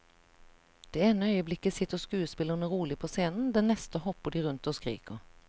Det ene øyeblikket sitter skuespillerne rolig på scenen, det neste hopper de rundt og skriker.